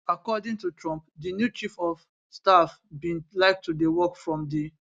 according to trump di new chief od staff bin like to dey work from di